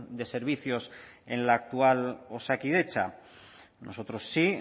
de servicios en la actual osakidetza nosotros sí